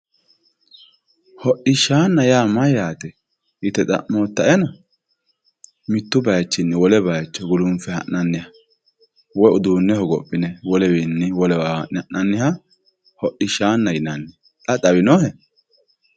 hodhishshanna yaa mayyaate yite xa'moottaena mittu bayiichinni wole bayiicho gulunfe ha'nanniha woy uduunne hogophine wolewiinni wolewa ha'nanniha hodhishshaanna yinanni xa xawinohe.